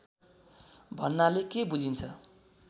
भन्नाले के बुझिन्छ